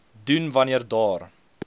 doen wanneer daar